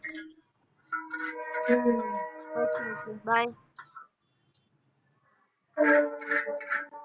ਹੋਰ ਠੀਕ ਹੈ by